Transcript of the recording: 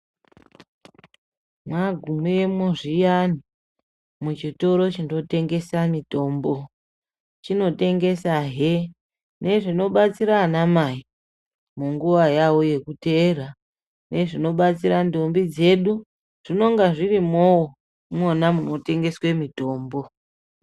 Mwagumemwo zviyani muzvitoro zvinotengesa mitombo, chinotengesa hee nezvinobatsira ana mai munguwa yawo yekuteera, nezvinobatsira ndombi dzedu zvinonga zvirimowo imwona munotengeswe mutombo